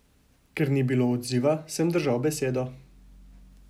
Ker ni bilo odziva, sem držal besedo.